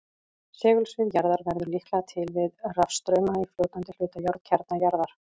Segulsvið jarðar verður líklega til við rafstrauma í fljótandi hluta járnkjarna jarðar.